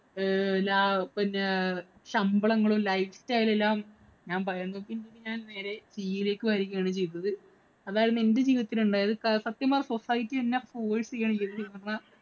ലാ പിന്നെ ശമ്പളങ്ങളും, life style എല്ലാം ഞാന്‍ പറയുന്നത് ഞാന്‍ നേരെ CA ലേക്ക് വരികയാണ്‌ ചെയ്തത്. അതാരുന്നു എന്‍റെ ജീവിതത്തില്‍ ഉണ്ടായത്. സത്യം പറഞ്ഞാല്‍ society എന്നെ force ചെയ്യുകയാണ് ചെയ്യത്.